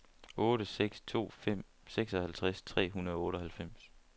otte seks to fem seksoghalvtreds tre hundrede og otteoghalvfems